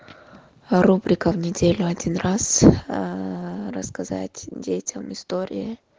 рубрика в неделю один раз рассказать детям истории